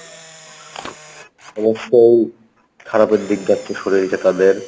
অবশ্যই খারাপের দিক যাচ্ছে শরীরটা তাদের